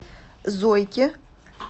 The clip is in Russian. зойки